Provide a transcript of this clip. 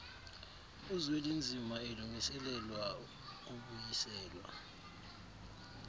uzwelinzima elungiselelwa ukubuyiselwa